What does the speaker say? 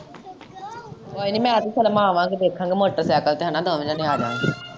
ਕੋਈ ਨੀ ਮੈਂ ਤੇ ਸਲਮਾਂ ਆਵਾਂਗੇ ਦੇਖਾਗੇ ਮੋਟਰਸਾਇਕਲ ਤੇ ਹੈਨਾ ਦੋਵੇਂ ਜਾਣੇ ਆਵਾਗੇ।